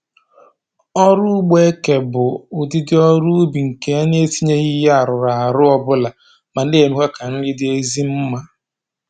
Ọrụ ugbo eke bụ ụdịdị ọrụ ubi nke e etinyeghị ihe arụrụarụ ọbụla ma na-emekwa ka nri dị ezi mma